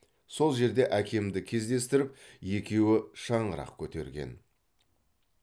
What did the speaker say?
сол жерде әкемді кездестіріп екеуі шаңырақ көтерген